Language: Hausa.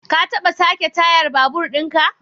Ka taba sake tayar babur din ka?